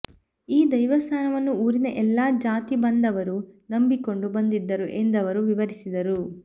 ಈ ದೈವಸ್ಥಾನವನ್ನು ಊರಿನ ಎಲ್ಲಾ ಜಾತಿಬಾಂಧವರು ನಂಬಿಕೊಂಡು ಬಂದಿದ್ದರು ಎಂದವರು ವಿವರಿಸಿದರು